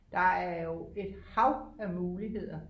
Der er jo et hav af muligheder